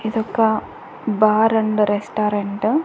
ఇదొక bar and restaurant .